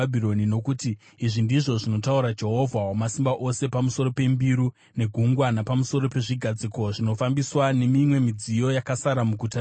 Nokuti izvi ndizvo zvinotaura Jehovha Wamasimba Ose pamusoro pembiru, neGungwa, napamusoro pezvigadziko zvinofambiswa nemimwe midziyo yakasara muguta rino,